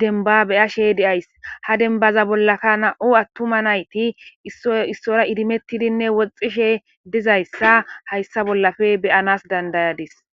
dembba be'ashe de'ayssi. Ha dembbaza bollaka nam''u atuma naytti isoy isuwa idimmetidi woxishe dizayssa hayssa bollappe be'anas dandsyadis.